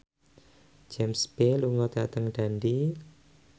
James Bay lunga dhateng Dundee